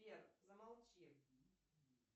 сбер замолчи